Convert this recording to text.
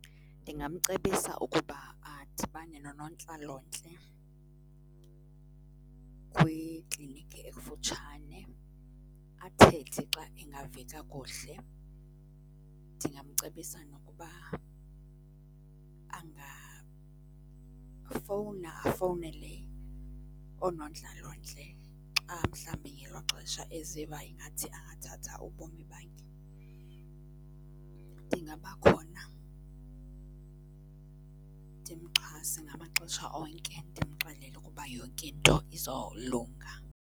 Ndingamcebisa ukuba adibane nonontlalontle kwikliniki ekufutshane, athethe xa engavi kakuhle. Ndingamcebisa nokuba angafowuna afowunele oonontlalontle, xa mhlawumbi ngelo xesha eziva engathi angathatha ubomi bakhe. Ndingaba khona ndimxhasa ngamaxesha onke, ndimxelele ukuba yonke into izolunga.